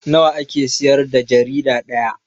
Nawa ake siyar da jarida ɗaya?